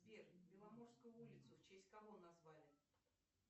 сбер беломорскую улицу в честь кого назвали